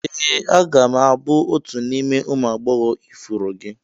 Ee a ga m abụ otu n'ime ụmụ agbọghọ ifuru gị.